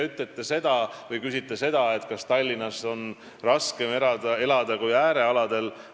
Te küsite, kas Tallinnas on raskem elada kui äärealadel.